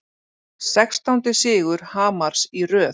Sextándi sigur Hamars í röð